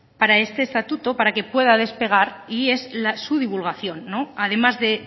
para este estatuto para que pueda despegar y es su divulgación además de